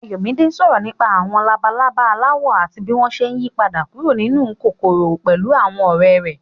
Ayọ̀mídé sọ̀rọ̀ nípa àwọn labalaba aláwọ̀ àti bí wọ́n ṣe ń yípadà kúrò nínú kòkòrò pẹ̀lú àwọn ọ̀rẹ́ rẹ̀.